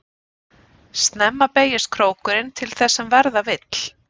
Snemma beygist krókurinn til þess sem verða vill.